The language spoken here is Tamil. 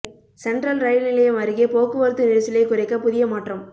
சென்ட்ரல் ரயில் நிலையம் அருகே போக்குவரத்து நெரிசலை குறைக்க புதிய மாற்றம்